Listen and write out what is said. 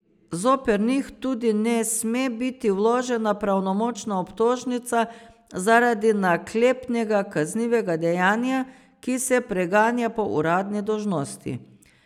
Zoper njih tudi ne sme biti vložena pravnomočna obtožnica zaradi naklepnega kaznivega dejanja, ki se preganja po uradni dolžnosti.